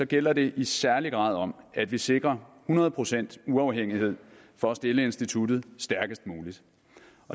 gælder det i særlig grad om at vi sikrer hundrede procent uafhængighed for at stille instituttet stærkest muligt